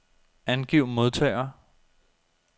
Angiv modtagere.